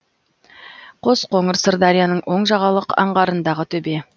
қосқоңыр сырдарияның оң жағалық аңғарындағы төбе